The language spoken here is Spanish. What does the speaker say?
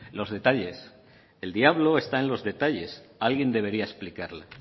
los detalles el diablo está en los detalles alguien debería explicarla